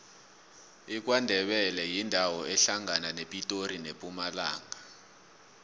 ikwandebele yindawo ehlangana nepitori nempumalanga